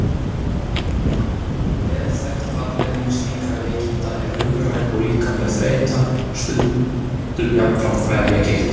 Vel þekkt afleiðing slíkra veikinda er hugræn og líkamleg þreyta, stundum jafnframt vefjagigt.